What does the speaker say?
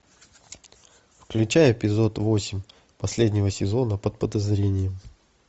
включай эпизод восемь последнего сезона под подозрением